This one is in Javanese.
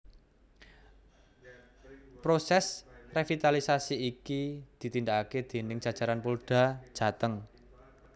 Prosès revitalisasi iki ditindakaké déning jajaran Polda Jateng